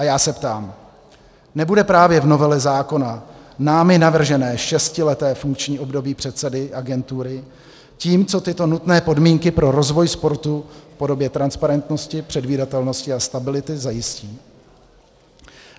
A já se ptám - nebude právě v novele zákona námi navržené šestileté funkční období předsedy agentury tím, co tyto nutné podmínky pro rozvoj sportu v podobě transparentnosti, předvídatelnosti a stability zajistí?